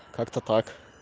как-то так